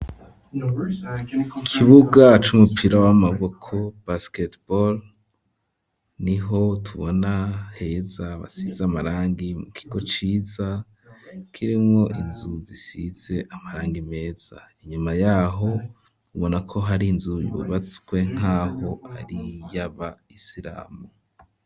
Ikibuga cumupira w'amaboko basketball ni ho tubona heza hasize amarangi mu kigo ciza kirimwo inzu zisize amarangi meza inyuma yaho ubona ko hari inzu yubatswe nkaho ari yaba isiramu.